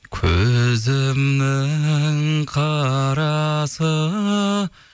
көзімнің қарасы